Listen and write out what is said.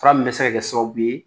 Fura min bɛ se ka kɛ sababu ye